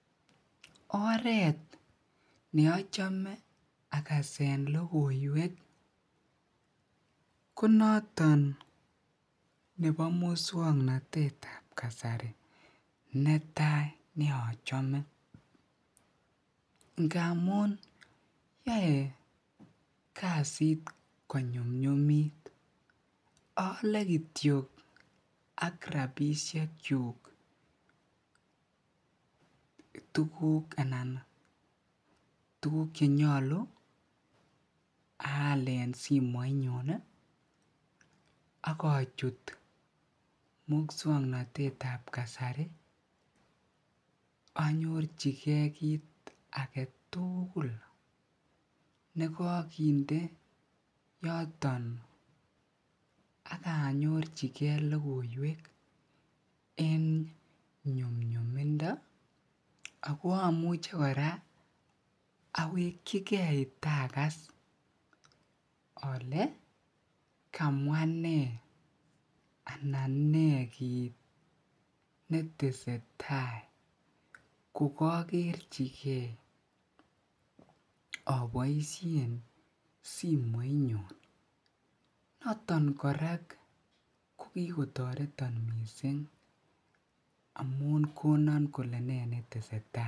oreet neochome agaseen logoiwek ko noton nebo muswoknotet ab kasari netai neochome, ngamuun yoe kasiit konyumnyumiit oole kityo ak rabishek chuuk tuguuk anan tuguk chenyolu aal en sismoit nyuun iih ak ochut muswoknotete ab kasari anyorchigee kiit agetuguul nebo kinde yoton aganyorchigee logoiweek en nyumnyumindo, ago omuche koraa owekchigee tagaas ole kamwa nee anan nee kiit netesetai kogogerchigee oboishen simoit nyun, noton koraa kogigitoreton mising amuun konon kole nee netesetai .